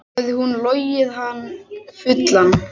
Hafði hún logið hann fullan?